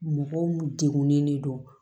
Mɔgɔw degunen de don